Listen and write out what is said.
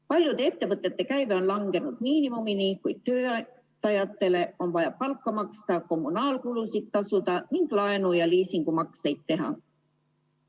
Paljude ettevõtete käive on langenud miinimumini, kuid töö tegijatele on vaja palka maksta, kommunaalkulusid tasuda ning laenu- ja liisingumakseid teha.